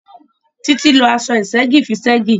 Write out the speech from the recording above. Títí lo aṣọ ìṣẹ́gì fi ṣẹ́gì